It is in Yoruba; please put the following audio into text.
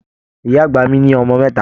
Ìyá àgbà mí ní ọmọ mẹta.